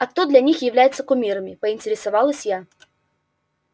а кто для них является кумирами поинтересовалась я